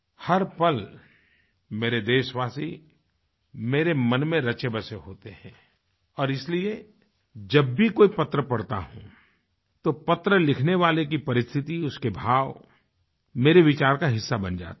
हर पल मेरे देशवासी मेरे मन में रचे बसे होते हैं और इसलिए जब भी कोई पत्र पढ़ता हूँ तो पत्र लिखने वाले की परिस्थिति उसके भाव मेरे विचार का हिस्सा बन जाते हैं